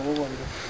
Necə aşkarlanıb?